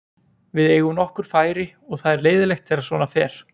Við eigum nokkur færi og það er leiðinlegt þegar að svona fer.